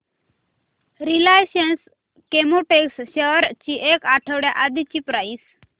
Reliance Chemotex shares ची एक आठवड्या आधीची प्राइस